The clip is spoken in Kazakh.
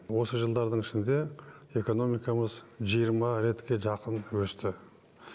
осы жылдардың ішінде экономикамыз жиырма ретке жақын өсті